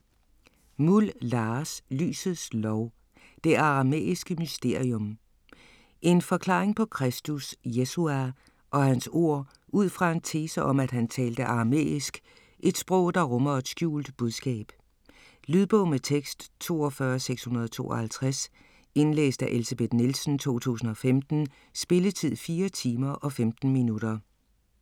Muhl, Lars: Lysets Lov: det aramæiske mysterium En forklaring på Kristus (Yeshua) og hans ord ud fra en tese om at han talte aramæisk, et sprog der rummer et skjult budskab. Lydbog med tekst 42652 Indlæst af Elsebeth Nielsen, 2015. Spilletid: 4 timer, 15 minutter.